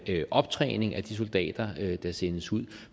er optræning af de soldater der sendes ud